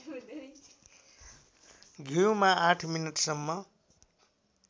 घिउमा ८ मिनेटसम्म